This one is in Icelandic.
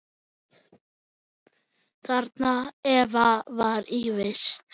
Þarna Eva var í vist.